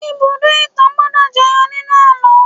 Ibùdó-ìtàn gbọ́dọ̀ jẹyọ nínú àlọ́